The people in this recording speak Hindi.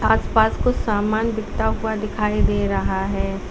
आसपास कुछ सामान बिकता हुआ दिखाई दे रहा है।